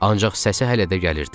Ancaq səsi hələ də gəlirdi.